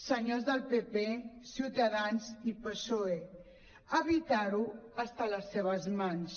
senyors del pp ciutadans i psoe evitar ho està a les seves mans